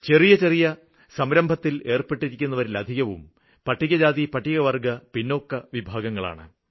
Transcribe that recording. ചെറിയ ചെറിയ സംരംഭകത്തിലേര്പ്പെട്ടിരിക്കുന്നതിലധികവും പട്ടികജാതി പട്ടികവര്ഗ്ഗ പിന്നോക്ക വിഭാഗങ്ങളാണ്